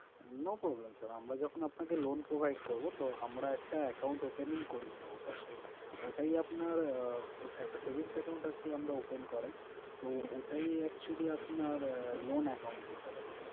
No problem sir আমরা যখন আপনাকে loan provide করবো তো আমরা একটা account opening করিয়ে নেবো first এ, ওটাই আপনার আহ একটা savings account আরকি open করায় তো ওটাই actually আপনার loan account হিসেবে থাকে।